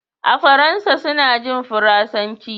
a Faransa suna jin Faransanci